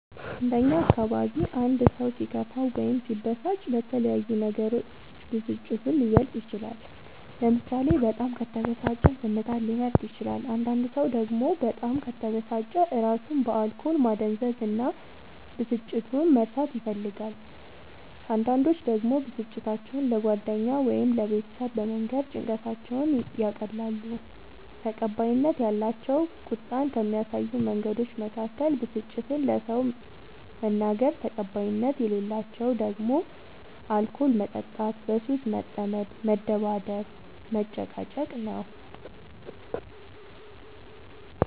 እንደ እኛ አካባቢ አንድ ሰው ሲከፋው ወይም ሲበሳጭ በተለያዩ ነገሮች ብስጭቱን ሊገልፅ ይችላል ለምሳሌ በጣም ከተበሳጨ ዝምታን ሊመርጥ ይችላል አንዳንድ ሰው ደግሞ በጣም ከተበሳጨ እራሱን በአልኮል ማደንዘዝ እና ብስጭቱን መርሳት ይፈልጋል አንዳንዶች ደግሞ ብስጭታቸው ለጓደኛ ወይም ለቤተሰብ በመንገር ጭንቀታቸውን ያቀላሉ። ተቀባይነት ያላቸው ቁጣን ከሚያሳዩ መንገዶች መካከል ብስጭትን ለሰው መናገር ተቀባይነት የሌላቸው ደግሞ አልኮል መጠጣት በሱስ መጠመድ መደባደብ መጨቃጨቅ